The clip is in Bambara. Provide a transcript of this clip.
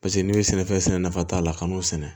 Paseke n'i bɛ sɛnɛfɛn sɛnɛ nafa t'a la ka n'o sɛnɛ